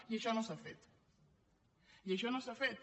i això no s’ha fet i això no s’ha fet